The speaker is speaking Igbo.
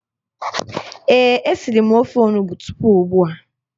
Ee, e siri m ofe onugbo tupu ugbua